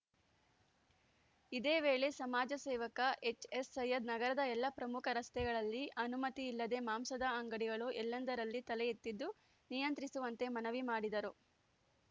ಇದೇ ವೇಳೆ ಸಮಾಜ ಸೇವಕ ಎಚ್‌ಎಸ್‌ಸೈಯದ್‌ ನಗರದ ಎಲ್ಲ ಪ್ರಮುಖ ರಸ್ತೆಗಳಲ್ಲಿ ಅನುಮತಿ ಇಲ್ಲದೆ ಮಾಂಸದಂಗಡಿಗಳು ಎಲ್ಲಂದರಲ್ಲೆ ತಲೆ ಎತ್ತಿದ್ದು ನಿಯಂತ್ರಿಸುವಂತೆ ಮನವಿ ಮಾಡಿದರು